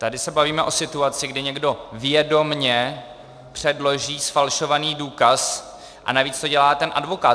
Tady se bavíme o situaci, kdy někdo vědomě předloží zfalšovaný důkaz, a navíc to dělá ten advokát.